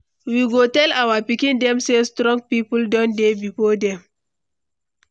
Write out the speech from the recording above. We go tell our pikin dem say strong people don dey before dem.